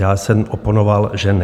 Já jsem oponoval, že ne.